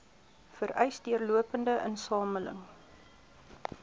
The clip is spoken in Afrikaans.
vereis deurlopende insameling